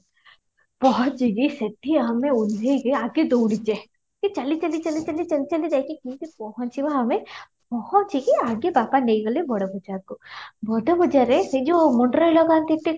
ପହଞ୍ଚି କି ସେଠି ଆମେ ଆଗ ଓଲ୍ଲେଇ କି ଆଗ ଦୌଡ଼ିଛେ, ଚାଲି ଚାଲି ଚାଲି ଚାଲି ଚାଲି ଚାଲି ଯାଇକି ପହଞ୍ଚିବା ଆମେ ପହଞ୍ଚି କି ଆଗେ ବାପା ନେଇ ଗଲେ ବଡ ବଜାରକୁ ବଡ ବଜାରରେ ସେଇ ଯାଉ ମୁଣ୍ଡରେ ଲାଗନ୍ତି